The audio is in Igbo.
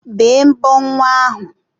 Bee mbọ nwa ahu!